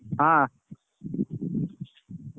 ହଁ